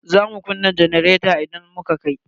Za su kunna janareta idan muka kai.